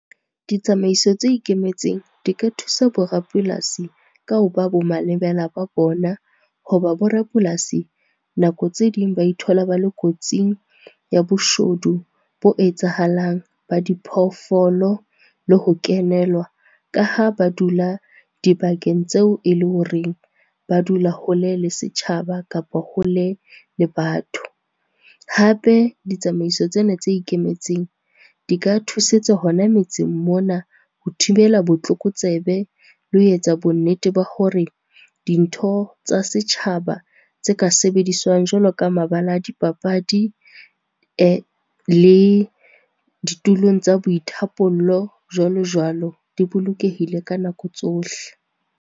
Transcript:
Ditsamaiso tse ikemetseng di ka thusa bo rapolasi ka ho ba bo malebela ba bona. Hoba bo rapolasi, nako tse ding ba ithola ba le kotsing ya boshodu bo etsahalang, ba diphoofolo le ho kenelwa ka ha ba dula dibakeng tseo e le horeng ba dula hole le setjhaba kapa hole le batho. Hape ditsamaiso tsena tse ikemetseng, di ka thusetsa hona metseng mona ho thibela botlokotsebe, le ho etsa bonnete ba hore dintho tsa setjhaba tse ka sebediswang jwalo ka mabala a dipapadi le ditulong tsa boithapollo jwalo-jwalo, di bolokehile ka nako tsohle.